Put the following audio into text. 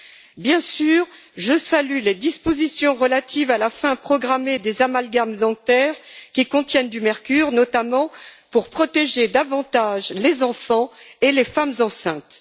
Je salue, bien sûr, les dispositions relatives à la fin programmée des amalgames dentaires qui contiennent du mercure, notamment pour protéger davantage les enfants et les femmes enceintes.